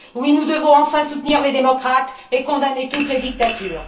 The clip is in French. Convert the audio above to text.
Oui, nous devons enfin soutenir les démocrates et condamner toutes les dictatures.